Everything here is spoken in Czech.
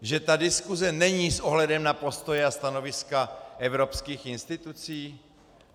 Že ta diskuse není s ohledem na postoje a stanoviska evropských institucí?